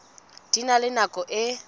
di na le nako e